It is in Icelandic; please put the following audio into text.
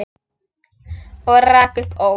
Og rak upp óp.